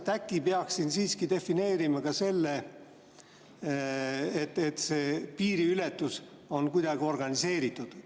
Äkki peaks siin siiski defineerima ka selle, et see piiriületus on kuidagi organiseeritud?